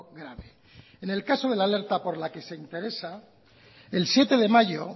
grave en el caso de la alerta por la que se interesa el siete de mayo